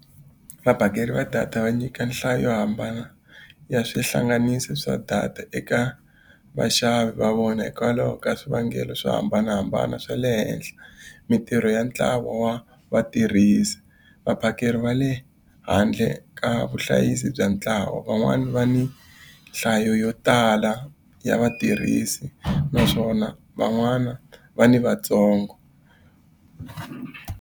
Vaphakeri va data va nyika nhlayo yo hambana ya swihlanganisi swa data eka vaxavi va vona hikwalaho ka swivangelo swo hambanahambana, swa le henhla mintirho ya ntlawa wa vatirhisi. Vaphakeri va le handle ka vuhlayisi bya ntlawa, van'wani va ni nhlayo yo tala ya vatirhisi naswona van'wana va ni vatsongo.